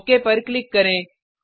okay पर click करें